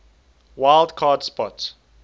wild card spot